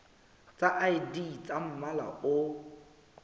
tsa id tsa mmala o